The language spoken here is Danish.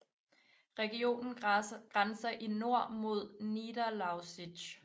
Regionen grænser i nord mod Niederlausitz